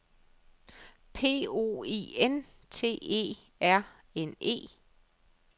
P O I N T E R N E